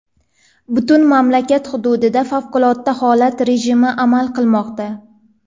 Butun mamlakat hududida favqulodda holat rejimi amal qilmoqda.